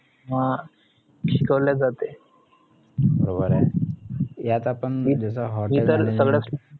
अं शिकवले जाते इतर सगळंच